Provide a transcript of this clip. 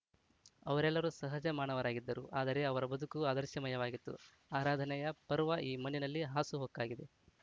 ಅವರೆಲ್ಲರೂ ಸಹಜ ಮಾನವರಾಗಿದ್ದರು ಆದರೆ ಅವರ ಬದುಕು ಆದರ್ಶಮಯವಾಗಿತ್ತು ಆರಾಧನೆಯ ಪರ್ವ ಈ ಮಣ್ಣಿನಲ್ಲಿ ಹಾಸುಹೊಕ್ಕಾಗಿದೆ